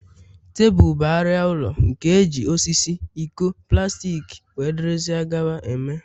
Tebụl bụ arịa ụlọ, nke eji osisi, iko, plastik wdg eme